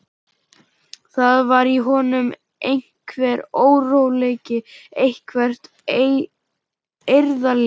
Það var í honum einhver óróleiki, eitthvert eirðarleysi.